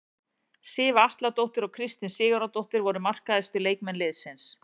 Sif Atladóttir og Kristín Sigurðardóttir voru markahæstu leikmenn liðsins.